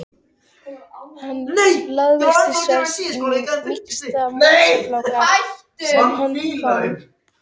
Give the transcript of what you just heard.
Hann lagðist til svefns á mýksta mosafláka sem hann fann.